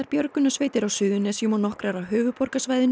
björgunarsveitir á Suðurnesjunum og nokkrar af höfuðborgarsvæðinu